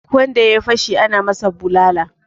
Duk wanda ya yi fashi ana masa bulala